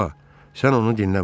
Bala, sən onu dinləmə.